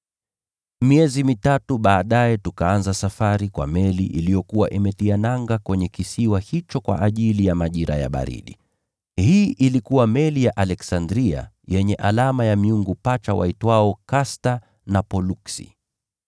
Miezi mitatu baadaye tukaanza safari kwa meli iliyokuwa imetia nanga kwenye kisiwa hicho kwa ajili ya majira ya baridi. Hii ilikuwa meli ya Iskanderia yenye alama ya miungu pacha waitwao Kasta na Poluksi.